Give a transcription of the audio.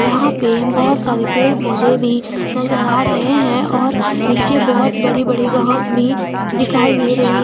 यहां पे बहोत सारी पेड़ पौधे भी नजर आ रहे है और नीचे बहुत बड़ी बड़ी घास भी दिखाई दे रही है।